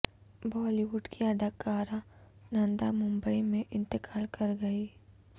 بالی would کی اداکارہ نندا ممبئی میں انتقال کرگئیں